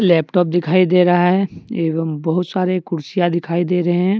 Laptop दिखाई दे रहा है एवं बहुत सारे कुर्सियां दिखाई दे रहे हैं।